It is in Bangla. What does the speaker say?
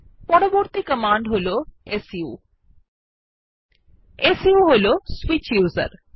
পরবর্তী কমান্ড হল সু সু হল সুইচ উসের